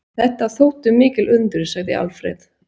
Þetta þóttu mikil undur, segir Alfreð.